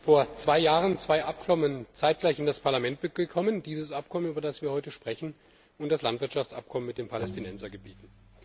Vor zwei Jahren sind zwei Abkommen zeitgleich in das Parlament gekommen Dieses Abkommen, über das wir heute sprechen, und das Landwirtschaftsabkommen mit den Palästinensergebieten.